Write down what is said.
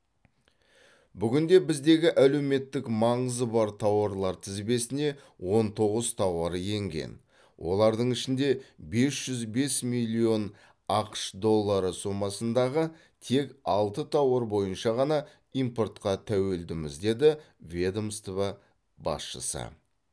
бүгінде біздегі әлеуметтік маңызы бар тауарлар тізбесіне он тоғыз тауар енген олардың ішінде бес жүз бес миллион ақш доллары сомасындағы тек алты тауар бойынша ғана импортқа тәуелдіміз деді ведомство басшысы